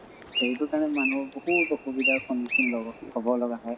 সেইটো কাৰণে মানুহক বহুত অসুবিধাৰ সন্মুখিন লʼব হʼব লগ হয়।